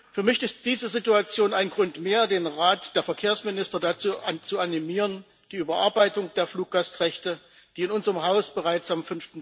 Für mich ist diese Situation ein Grund mehr, den Rat der Verkehrsminister dazu zu animieren, die Überarbeitung der Fluggastrechte, die in unserem Haus bereits am